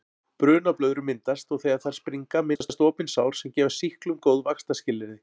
Brunablöðrur myndast og þegar þær springa myndast opin sár sem gefa sýklum góð vaxtarskilyrði.